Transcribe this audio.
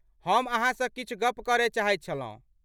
हम अहाँसँ किछु गप करय चाहैत छलहुँ।